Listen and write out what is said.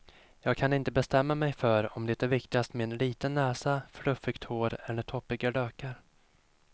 Jag kan inte bestämma mig för om det är viktigast med liten näsa, fluffigt hår eller toppiga lökar.